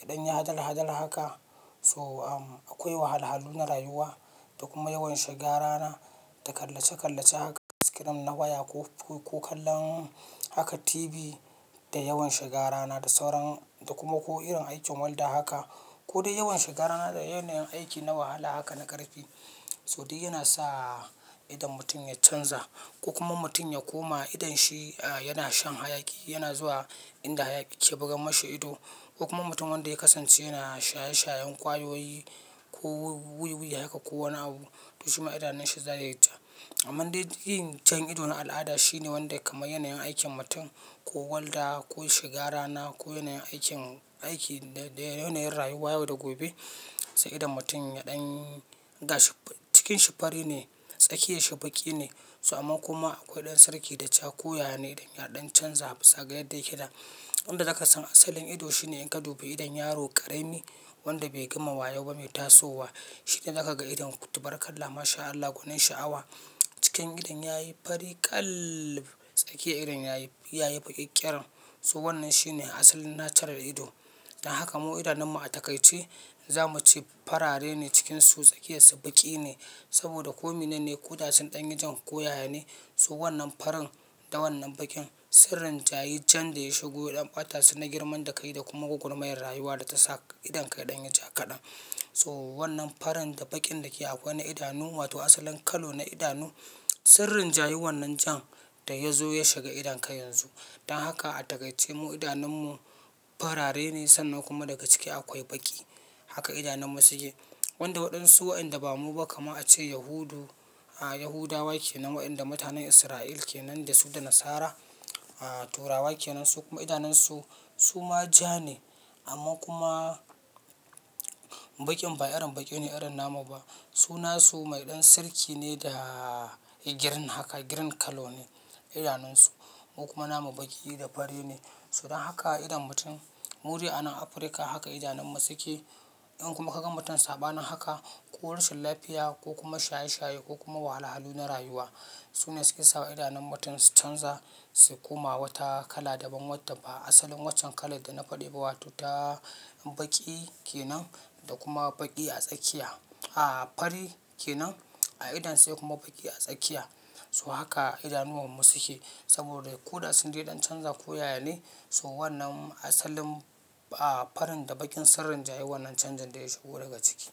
ya ɗan ya hadal hadal haka so, um, akwai wahal-halu na rayuwa da kuma yawan shiga rana da kallace-kallace haka screen na waya ko, ko kallon haka TV da yawan shiga rana da sauran da kuma ko irin aikin welda haka ko dai yawan shiga rana da yanayin aiki na wahala haka na ƙarfi. So duk yana sa idon mutum ya canza ko kuma mutum ya koma idon shi, a, yana shan hayaki, yana zuwa inda hayaki ke bugan mishi ido ko kuma mutum wanda ya kasance yana shaye-shayen ƙwayoyi ko wee-wee haka ko wani abu to shima idanun shi za ya yi ja. Amman dai yin jan ido na al'ada shine wanda ya kaman yanayin aikin mutum ko welda ko shiga rana ko yanayin aikin, aiki da yanayin rayuwa yau da gobe sai idon mutum ya ɗan gashi cikin shi fari ne, tsakiyan shi baƙi ne. So amma kuma akwai ɗan sirki da ja ko yaya ne idan ya ɗan canza zagayar da yake da. Wanda da za ka san asalin idon shine in ka dubi idon yaro ƙarami wanda bai gama wayo ba mai tasowa shine za ka ga idon ku tabarakalla masha Allah gonin sha'awa. Cikin idon yayi fari kal tsakiyan idon yayi, yayi baƙi ƙyaren. So wannan shine asalin natural ido. Dan haka mu idanunmu a takai ce za muce farare ne cikinsu tsakiyarsu baƙi ne saboda ko mene ne ko da sun ɗan yi jan ko yaya ne so wannan farin da wannan baƙin sun rinjayi jan da ya shigo don ɓata su na girman kai da kuma gogormayan rayuwa da ta sa idonka ya ɗan yo ja kaɗan. So wannan farin da baƙin da ke akwai na idanu wato asalin kalo na idanu sun rinjayi wannan jan da ya zo ya shiga idonka yanzu. Dan haka a takai ce mu idanunmu farare ne sannan kuma daga ciki akwai baƙi haka idanunmu suke. Wanda waɗansu wa'enda bamu ba kamar a ce Yahudu, a, Yahudawa ke nan wa'enda mutanen Israel ke nan da su da Nasara, a, Turawa ke nan su kuma idanunsu su ma ja ne amma kuma baƙin ba irin baƙi ne irin namu ba. Su nasu mai ɗan sirki ne da girin haka girin kllo ne idanunsu. Mu kuma namu baƙi da fari ne. So dan haka idon mutum mu dai a nan Afirka haka idanunmu suke. In kuma ka gan mutum saba nin haka ko rashin lafiya ko kuma shaye-shaye ko kuma wahal-halu na rayuwa su ne suke sawa idanun mutum su canza, su koma wata kala daban wadda ba. Asalin waccan kalar da na faɗi ba wato ta baƙi kenan da kuma baƙi a tsakiya, a, fari kenan a idon sai kuma baƙi a tsakiya. So haka idanuwar mu suke saboda ko da sun dai ɗan canza ko yaya ne so wannan asalin, a, farin da baƙin sun rinjayi wannan canjin da ya shigo daga ciki.